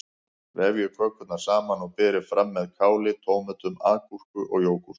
Vefjið kökurnar saman og berið fram með káli, tómötum, agúrku og jógúrt.